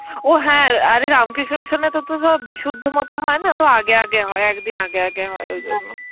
ও হ্যাঁ, আরে রামকৃষ্ণ মিশনে তো সব বিশুদ্ধ মতে হয় না, তো আগে আগে হয়, একদিন আগে আগে হয় ওই জন্য.